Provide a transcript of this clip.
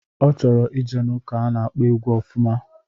Ọ chọrọ ije n'ụka a na-akpọ egwu ofụma.